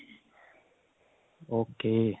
okay